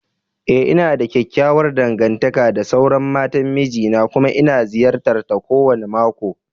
Ee, ina da kyakkyawar dangantaka da sauran matan miji na kuma ina ziyartar ta kowane mako